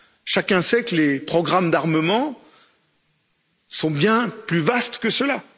Chacun sait que les programmes d'armement sont bien plus vastes que cela.